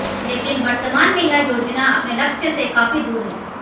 लेकिन वर्तमान में यह योजना अपने लक्ष्य से काफी दूर है